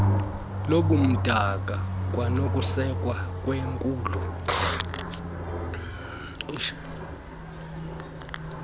lobumdaka kwanokusekwa kwekhulu